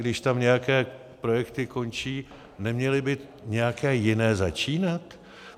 Když tam nějaké projekty končí, neměly by nějaké jiné začínat?